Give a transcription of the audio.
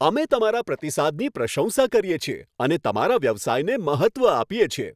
અમે તમારા પ્રતિસાદની પ્રશંસા કરીએ છીએ અને તમારા વ્યવસાયને મહત્ત્વ આપીએ છીએ.